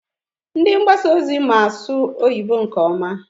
Ndị mgbasa ozi ma asụ oyibo nke ọma.